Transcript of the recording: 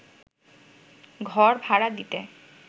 ঘড় ভাড়া দিতে